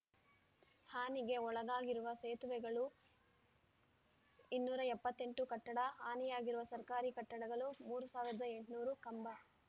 ಹಾನಿಗೆ ಒಳಗಾಗಿರುವ ಸೇತುವೆಗಳು ಇನ್ನೂರ ಎಪ್ಪತ್ತ್ ಎಂಟು ಕಟ್ಟಡ ಹಾನಿಯಾಗಿರುವ ಸರ್ಕಾರಿ ಕಟ್ಟಡಗಳು ಮೂರ್ ಸಾವಿರದ ಎಂಟುನೂರು ಕಂಬ